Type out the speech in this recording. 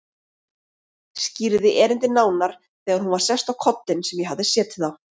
Skýrði erindið nánar þegar hún var sest á kollinn sem ég hafði setið á.